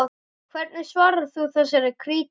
Hvernig svarar þú þessari krítík?